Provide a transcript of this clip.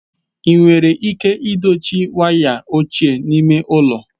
Enwere ike dochie wires ochie n'ime ụlọ?